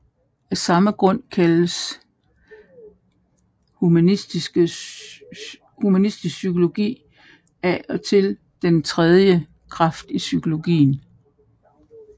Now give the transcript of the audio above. Af samme grund kaldes humanistisk psykologi af og til den tredje kraft i psykologien